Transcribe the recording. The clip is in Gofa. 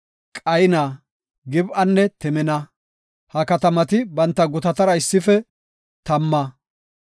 Qayna, Gib7anne Timina. Ha katamati banta gutatara issife tamma.